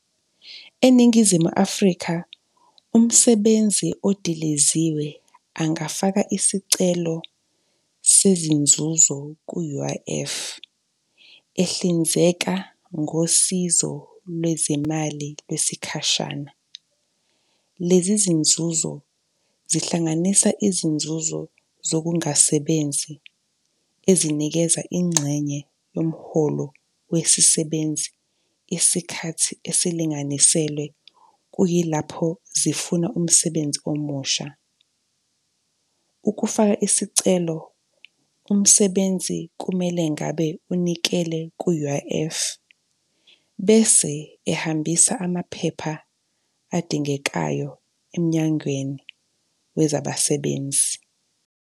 ENingizimu Afrika, umsebenzi odiliziwe angafaka isicelo sezinzuzo ku-U_I_F, ehlinzeka ngosizo lwezimali lwesikhashana. Lezi zinzuzo zihlanganisa izinzuzo zokungasebenzi ezinikeza ingxenye yomholo wesisebenzi isikhathi esilinganiselwe kuyilapho zifuna umsebenzi omusha. Ukufaka isicelo, umsebenzi kumele ngabe unikele ku-U_I_F bese ehambisa amaphepha adingekayo emnyangweni wezabasebenzi.